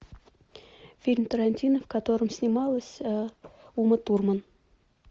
фильм тарантино в котором снималась ума турман